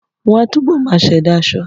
Wọ́n á túbọ̀ máa ṣẹ̀dá aṣọ